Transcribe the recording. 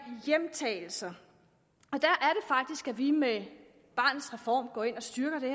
hjemtagelser og vi med barnets reform går ind og styrker det